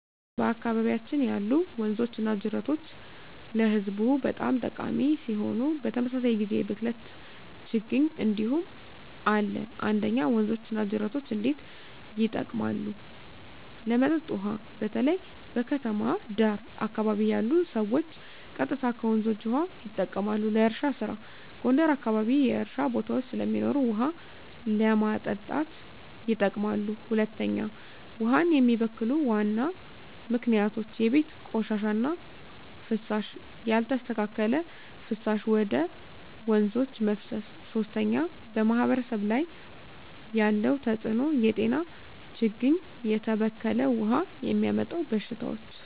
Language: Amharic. በአካባቢያችን ያሉ ወንዞችና ጅረቶች ለህዝቡ በጣም ጠቃሚ ሲሆኑ፣ በተመሳሳይ ጊዜ የብክለት ችግኝ እንዲሁም አለ። 1. ወንዞች እና ጅረቶች እንዴት ይጠቀማሉ? ለመጠጥ ውሃ: በተለይ በከተማ ዳር አካባቢ ያሉ ሰዎች ቀጥታ ከወንዞች ውሃ ይጠቀማሉ። ለእርሻ ስራ: ጎንደር አካባቢ የእርሻ ቦታዎች ስለሚኖሩ ውሃ ለማጠጣት ይጠቀማሉ። 2. ውሃን የሚበክሉ ዋና ምክንያቶች የቤት ቆሻሻ እና ፍሳሽ: ያልተስተካከለ ፍሳሽ ወደ ወንዞች መፍሰስ 3. በማህበረሰብ ላይ ያለው ተጽዕኖ የጤና ችግኝ: የተበከለ ውሃ የሚያመጣው በሽታዎች